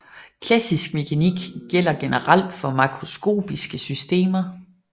Klassisk mekanik gælder generelt for makroskopiske systemer